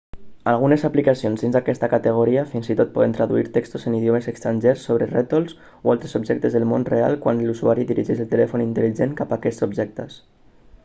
algunes aplicacions dins d'aquesta categoria fins i tot poden traduir textos en idiomes estrangers sobre rètols o altres objectes del món real quan l'usuari dirigeix el telèfon intel·ligent cap a aquests objectes